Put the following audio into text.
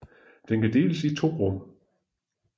Den kan deles i to rum